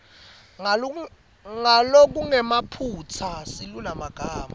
ngalokungenamaphutsa silulumagama